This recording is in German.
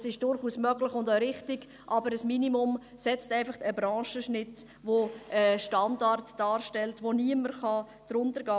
Das ist durchaus möglich und auch richtig, aber ein Minimum setzt einfach einen Branchenschnitt fest, der einen Standard darstellt und unter den niemand gehen kann.